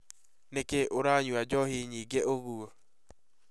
Nĩkĩ ũranyua njohi nyingĩ ũguo?